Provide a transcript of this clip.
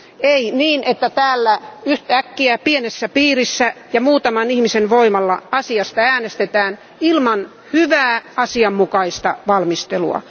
Ei niin, että täällä yht'äkkiä pienessä piirissä ja muutaman ihmisen voimalla asiasta äänestetään ilman hyvää, asianmukaista valmistelua.